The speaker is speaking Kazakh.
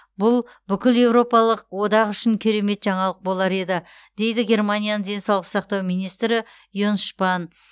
бұл бүкіл еуропалық одақ үшін керемет жаңалық болар еді дейді германияның денсаулық сақтау министрі йенс шпан